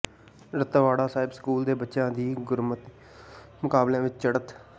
Ratwara Sahib school ਦੇ ਬੱਚਿਆਂ ਦੀ ਗੁਰਮਤਿ ਮੁਕਾਬਲਿਆਂ ਵਿੱਚ ਚੜ੍ਹਤ